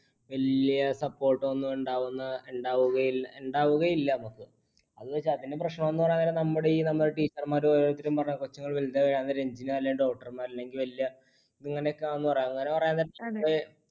വലിയ support ഒന്നും ഉണ്ടാവുന്ന ഉണ്ടാവുകയില്ല